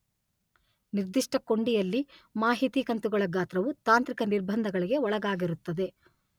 ನಿರ್ದಿಷ್ಟ ಕೊಂಡಿಯಲ್ಲಿ ಮಾಹಿತಿ ಕಂತುಗಳ ಗಾತ್ರವು ತಾಂತ್ರಿಕ ನಿರ್ಬಂಧಗಳಿಗೆ ಒಳಗಾಗಿರುತ್ತದೆ.